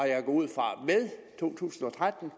jeg ud fra to tusind og tretten og